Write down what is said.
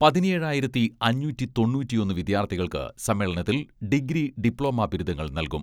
പതിനേഴായിരത്തി അഞ്ഞൂറ്റി തൊണ്ണൂറ്റിയൊന്ന് വിദ്യാർഥികൾക്ക് സമ്മേളനത്തിൽ ഡിഗ്രി, ഡിപ്ലോമ ബിരുദങ്ങൾ നൽകും.